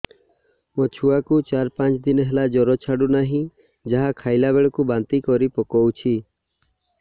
ମୋ ଛୁଆ କୁ ଚାର ପାଞ୍ଚ ଦିନ ହେଲା ଜର ଛାଡୁ ନାହିଁ ଯାହା ଖାଇଲା ବେଳକୁ ବାନ୍ତି କରି ପକଉଛି